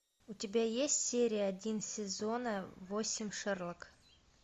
у тебя есть серия один сезона восемь шерлок